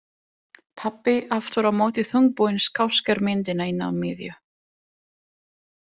Pabbi aftur á móti þungbúinn skásker myndina inn að miðju.